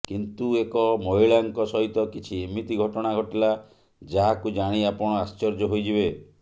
କିନ୍ତୁ ଏକ ମହିଳାଙ୍କ ସହିତ କିଛି ଏମିତି ଘଟଣା ଘଟିଲା ଯାହାକୁ ଜାଣି ଆପଣ ଆଶ୍ଚର୍ୟ୍ୟ ହୋଇଯିବେ